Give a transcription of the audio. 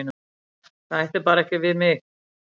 Það ætti bara ekki við mig.